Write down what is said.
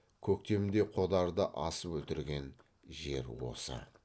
көктемде қодарды асып өлтірген жер осы